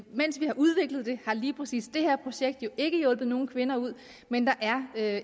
mens vi har udviklet det har lige præcis det her projekt jo ikke hjulpet nogen kvinder ud men der er